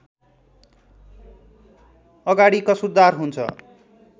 अगाडि कसुरदार हुन्छ